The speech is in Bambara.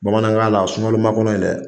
Bamanankan na sungaloma kɔnɔ in dɛ